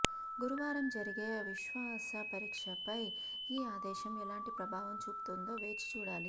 గురువారం జరిగే విశ్వాసపరీక్షపై ఈ ఆదేశం ఎలాంటి ప్రభావం చూపుతుందో వేచిచూడాలి